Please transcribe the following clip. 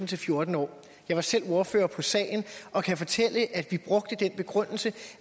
til fjorten år jeg var selv ordfører på sagen og kan fortælle at vi brugte den begrundelse